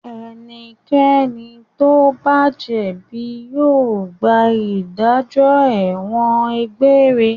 Ẹnikẹ́ni tó bá jẹ̀bi yóò gba ìdájọ́ ẹ̀wọ̀n egbére.